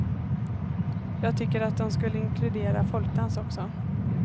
Jag tycker de skulle inkludera folkdans också.